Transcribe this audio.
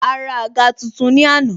A ra àga tuntun ni àná